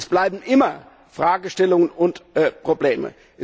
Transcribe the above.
Es bleiben immer Fragestellungen und Probleme.